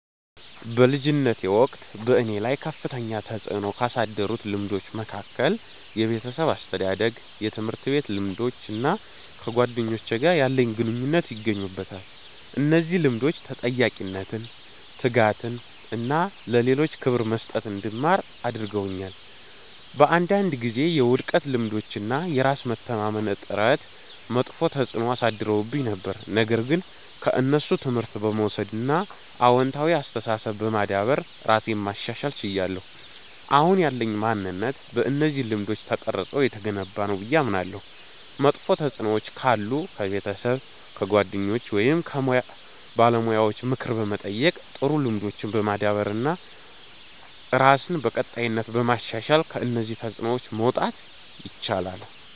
በልጅነቴ ወቅት በእኔ ላይ ከፍተኛ ተጽዕኖ ካሳደሩት ልምዶች መካከል የቤተሰብ አስተዳደግ፣ የትምህርት ቤት ልምዶች እና ከጓደኞቼ ጋር ያለኝ ግንኙነት ይገኙበታል። እነዚህ ልምዶች ተጠያቂነትን፣ ትጋትን እና ለሌሎች ክብር መስጠትን እንድማር አድርገውኛል። በአንዳንድ ጊዜ የውድቀት ልምዶች እና የራስ መተማመን እጥረት መጥፎ ተጽዕኖ አሳድረውብኝ ነበር፣ ነገር ግን ከእነሱ ትምህርት በመውሰድ እና አዎንታዊ አስተሳሰብ በማዳበር ራሴን ማሻሻል ችያለሁ። አሁን ያለኝ ማንነት በእነዚህ ልምዶች ተቀርጾ የተገነባ ነው ብዬ አምናለሁ። መጥፎ ተጽዕኖዎች ካሉ ከቤተሰብ፣ ከጓደኞች ወይም ከሙያ ባለሙያዎች ምክር በመጠየቅ፣ ጥሩ ልምዶችን በማዳበር እና ራስን በቀጣይነት በማሻሻል ከእነዚህ ተጽዕኖዎች መውጣት ይቻላል።